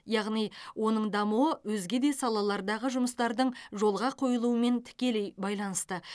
яғни оның дамуы өзге де салалардағы жұмыстардың жолға қойылуымен тікелей байланысты